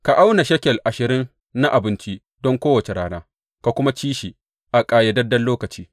Ka auna shekel ashirin na abinci don kowace rana ka kuma ci shi a ƙayyadadden lokaci.